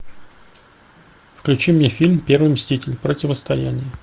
включи мне фильм первый мститель противостояние